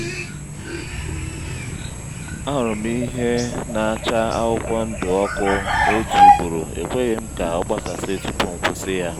ahụrụ m ihe na-acha akwụkwọ ndụ ọkụ otu ugboro ekweghi'm ka ọ gbasasị tupu m kwusi-ya